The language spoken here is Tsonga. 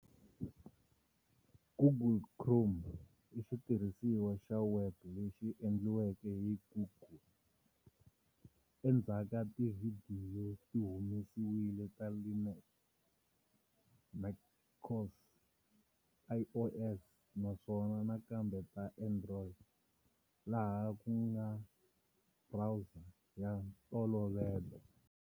Google Chrome i xitirhisiwa xa webu lexi endliweke hi Google. Endzhaku tivhidiyo ti humesiwile ta Linux, macOS, iOS, naswona nakambe ta Android, laha ku nga browser ya ntolovelo.